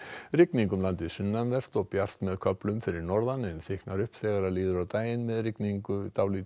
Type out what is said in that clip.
rigning um landið sunnanvert og bjart með köflum fyrir norðan en þykknar upp þar þegar líður á daginn með rigningu